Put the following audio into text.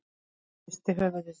Hún hristir höfuðið.